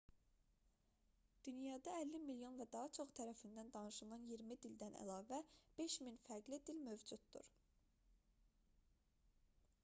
dünyada 50 milyon və daha çoxu tərəfindən danışılan iyirmi dildən əlavə 5000 fərqli dil mövcuddur